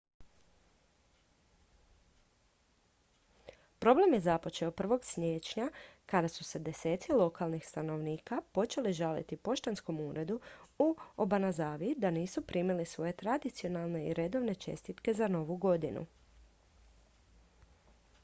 problem je započeo 1. siječnja kada su se deseci lokalnih stanovnika počeli žaliti poštanskom uredu u obanazawi da nisu primili svoje tradicionalne i redovne čestitke za novu godinu